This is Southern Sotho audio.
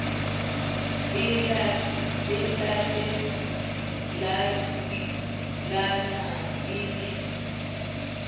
e late latailana e ne